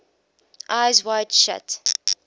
eyes wide shut